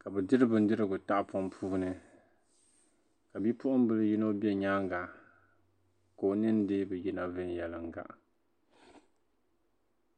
ka bɛ diri bindirigu tahapɔŋ puuni ka bipuɣimbila yino be nyaaŋga ka o ninni dii bi yina viɛnyɛliŋga